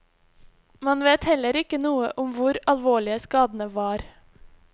Man vet heller ikke noe om hvor alvorlige skadene var.